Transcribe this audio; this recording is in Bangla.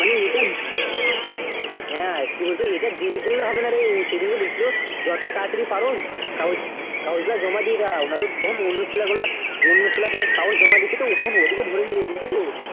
মানে এটা, হ্যাঁ কি বলত এটা দেরি করলে হবে না রে উ সেদিনকে দেখলো যত তাড়াতাড়ি পারো কাগজ, কাগজটা জমা দিয়ে দাও নয়তো তখন অন্য ছেলেগুলা, অন্য ছেলেগুলা কাগজ জমা দিছে তো তখন ওদেরও ভরে নেবে, বুঝলে তো?